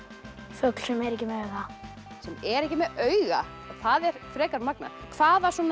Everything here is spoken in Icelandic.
fugl sem er ekki með auga sem er ekki með auga það er frekar magnað hvaða